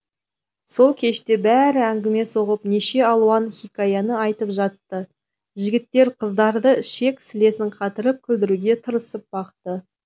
сол кеште бәрі әңгіме соғып неше алуан хикаяны айтып жатты жігіттер қыздарды ішек сілесін қатырып күлдіруге тырысып бақты